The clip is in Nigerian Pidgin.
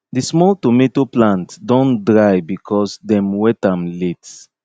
di small tomato plant plant don dry because dem wet am late